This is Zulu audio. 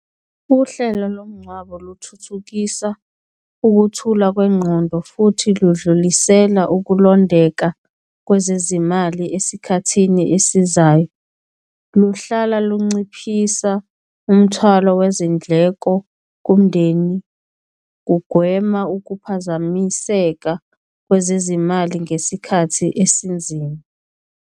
Uhlelo lomngcwabo luthuthukisa ukuthula kwengqondo futhi ludlulisela ukulondeka kwezezimali esikhathini esizayo, luhlala lunciphisa umthwalo wezindleko kumndeni, kugwema ukuphazamiseka kwezezimali ngesikhathi esinzima.